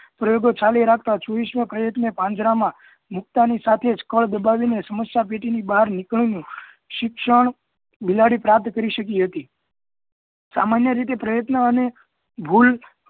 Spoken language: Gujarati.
પ્રયોગો ચાલુ રાખતા છવ્વીસ માં પ્રયત્ન એ પાંજરા માં મૂકતા ની સાથે જ કળ દબાવીને સમસ્યા પેટી ની બહાર નીકળવાનું શિક્ષણ બિલાડી પ્રાપ્ત કરી શકી હતી. સામાન્ય રીતે પ્રયત્ન અને ભુલ